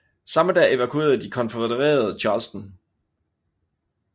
Samme dag evakuerede de konfødererede Charleston